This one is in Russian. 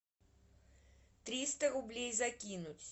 триста рублей закинуть